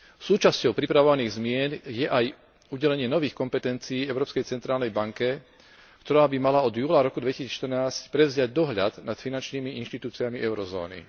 Súčasťou pripravovaných zmien je aj udelenie nových kompetencií Európskej centrálnej banke, ktorá by mala od júla roku 2014 prevziať dohľad nad finančnými inštitúciami eurozóny.